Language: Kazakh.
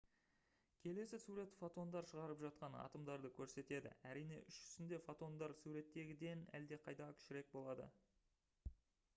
келесі сурет фотондар шығарып жатқан атомдарды көрсетеді әрине іс жүзінде фотондар суреттегіден әлдеқайда кішірек болады